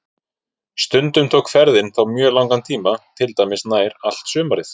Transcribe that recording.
Stundum tók ferðin þá mjög langan tíma, til dæmis nær allt sumarið.